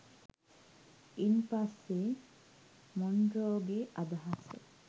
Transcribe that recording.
ඉන් පස්සෙ මොන්රෝගේ අදහස